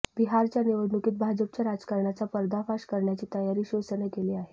बिहारच्या निवडणुकीत भाजपच्या राजकारणाचा पर्दाफाश करण्याची तयारी शिवसेनेनं केली आहे